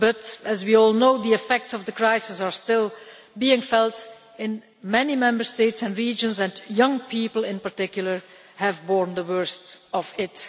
But, as we all know, the effects of the crisis are still being felt in many Member States and regions, and young people in particular have borne the worst of it.